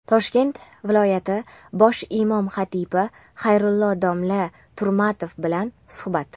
Toshkent viloyati bosh imom xatibi Xayrulla domla Turmatov bilan suhbat.